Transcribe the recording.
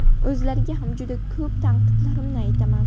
O‘zlariga ham juda ko‘p tanqidlarimni aytaman.